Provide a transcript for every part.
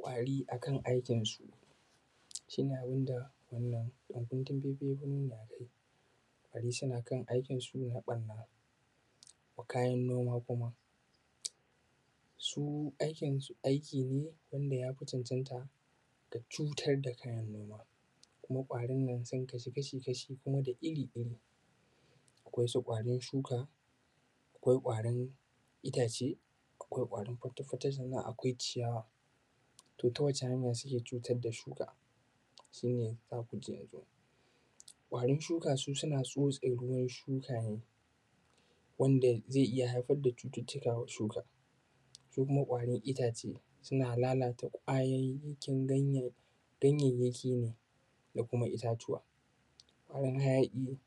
Kwari akan aikinsu shi ne abun da wannan faifai ya zo mana da shi, kwari suna kan aikinsu na ɓanna. Kayan noma kuma su aikinsu aiki ne wanda ya fi cancanta da cutar da kayan noma kuma kwarin nan sun kasu kasha-kashi kuma da iri-iri, akwai su kwarin shuka, akwai kwarin itace, akwai kwarin fake-fake, sannan akawai ciyawa. To, wata hanya suke cutar da shuka su ne za ku ji yanzun kwarin shuka su suna tsotse ruwan shuka ne wanda zai iya haifar da cututtukawa shuka, su kuma kwarin itace suna lalata kwayayyakin ganyanyaki ne da kuma itatuwa gonar, hayaƙi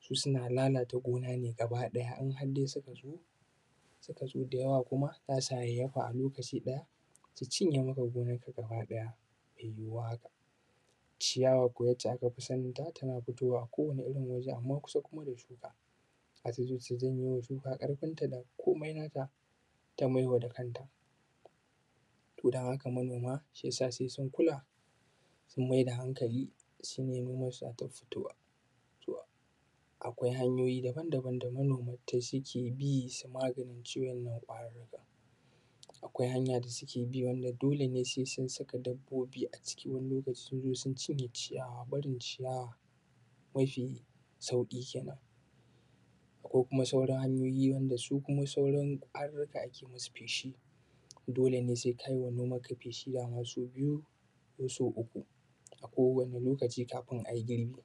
su suna lalata gona ne gabaɗaya in har dai suka zo suka zo da yawa, kuma za su hayayyafa a lokaci ɗaya su cinye maka gonanka gabaɗaya, mai yuwuwa haka ciyawa kuma yacca kafi saninta tana fitowa kowane irin waje amma kuma kusa da shuka su janyo shuka ƙarfinta da komai nata ta maidawa kanta, to dan haka manoma shi ya sa sai sun kula sun mai da hankali shi ne nomansu za ta fito. Akwai hanyoyi daban-daban da manoma suke bi su maganin shi wannan kwarin, akwai hanya da suke bi wanda dole ne sai sun saka dabbobi a ciki, wani lokci sai sun cire ciyawa, barin ciyawa mafi sauƙi kenan ko kuma sauarn hanyoyi su kuma sauran kwarurruka ake musu feshi dole ne sai ka yi ma nomanka feshi da ma sau biyu ko sau uku a kowane lokaci kafun ai girbi.